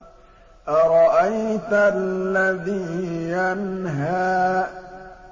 أَرَأَيْتَ الَّذِي يَنْهَىٰ